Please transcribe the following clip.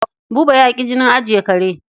Buba ya ƙi jinin ajiye kare.